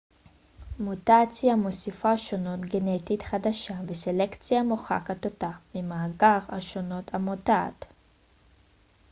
מוטציה מוסיפה שונות גנטית חדשה וסלקציה מוחקת אותה ממאגר השונות המבוטאת